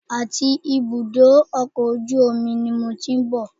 Àti ibùdó ọkọ̀ ojú omi ni mo ti ń bọ̀